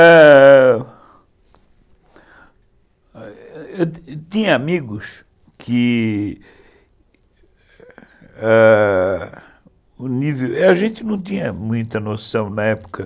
Eu tinha amigos que, ãh... A gente não tinha muita noção na época.